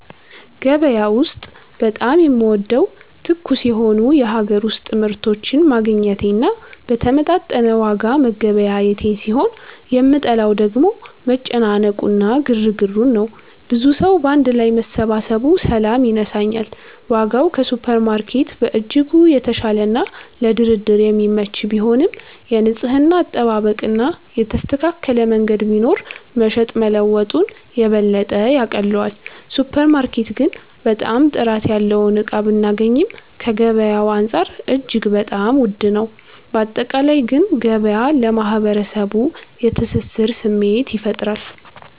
ገበያ ውስጥ በጣም የምወደው ትኩስ የሆኑ የሀገር ውስጥ ምርቶችን ማግኘቴን እና በተመጣጠነ ዋጋ መገበያየቴን ሲሆን የምጠላው ደግሞ መጨናነቁ እና ግርግሩን ነው። ብዙ ሰዉ ባንድ ላይ መሰባሰቡ ሰላም ይነሳኛል። ዋጋው ከሱፐርማርኬት በእጅጉ የተሻለና ለድርድር የሚመች ቢሆንም፣ የንጽህና አጠባበቅ እና የተስተካከለ መንገድ ቢኖር መሸጥ መለወጡን የበለጠ ያቀለዋል። ሱፐር ማርኬት ግን በጣም ጥራት ያለውን እቃ ብናገኚም ከገበያዉ አንፃር እጅግ በጣም ዉድ ነው። ባጠቃላይ ግን ገበያ ለማህበረሰቡ የትስስር ስሜት ይፈጥራል።